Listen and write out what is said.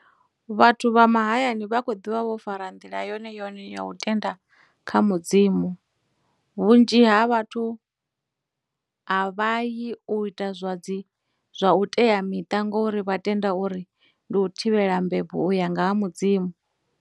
Vhathu vha mahayani vha khou ḓivha vho fara ndila yone yone ya u tenda kha mudzimu, vhunzhi ha vhathu a vha yi u ita zwa dzi, zwa u teamiṱa ngori vha tenda uri ndi u thivhela mbebo u ya nga ha mudzimu.